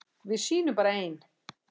Við sýnum bara ein